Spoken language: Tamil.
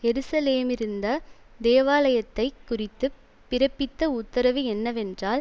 எருசலேமிலிருந்த தேவாலயத்தைக் குறித்து பிறப்பித்த உத்தரவு என்னவென்றால்